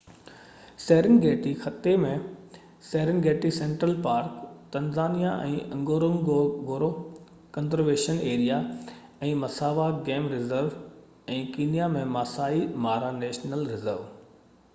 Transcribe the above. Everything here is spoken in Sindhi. سيرن گيٽي خطي ۾ Serengeti central park Tanzania ۾ Ngorongoro conservation area ۽ Maswa game reserve ۽ Kenya ۾ Masai Mara national reserve